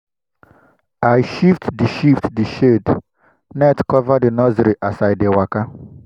i shift the shift the shade net cover the nursery as i dey waka.